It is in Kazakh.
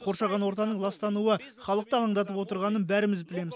қоршаған ортаның ластануы халықты алаңдатып отырғанын бәріміз білеміз